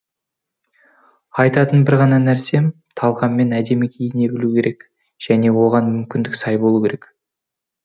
айтатын бір ғана нәрсем талғаммен әдемі киіне білу керек және оған мүмкіндік сай болуы керек